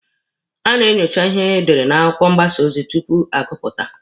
A na-enyocha ihe edere n'akwụkwọ mgbasa ozi tupu agụpụta.